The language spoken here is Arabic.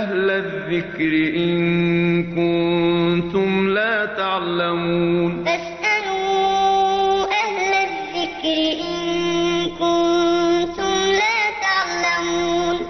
أَهْلَ الذِّكْرِ إِن كُنتُمْ لَا تَعْلَمُونَ